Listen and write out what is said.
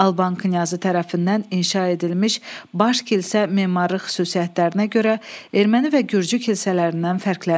Alban knyazı tərəfindən inşa edilmiş baş kilsə memarlıq xüsusiyyətlərinə görə erməni və gürcü kilsələrindən fərqlənir.